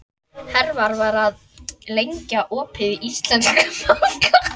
Hervar, hvað er lengi opið í Íslandsbanka?